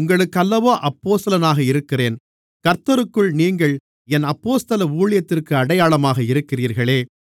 உங்களுக்கல்லவோ அப்போஸ்தலனாக இருக்கிறேன் கர்த்தருக்குள் நீங்கள் என் அப்போஸ்தல ஊழியத்திற்கு அடையாளமாக இருக்கிறீர்களே